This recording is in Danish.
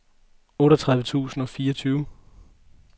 otteogtredive tusind og fireogtyve